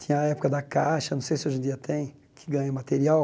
Tinha a época da caixa, não sei se hoje em dia tem, que ganha material.